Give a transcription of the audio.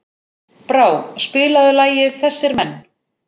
Brá, spilaðu lagið „Þessir Menn“.